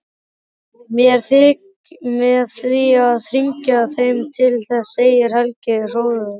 Með því að hringja heim til þess, segir Helgi hróðugur.